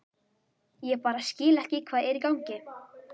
Ég bara skil ekki hvað er í gangi.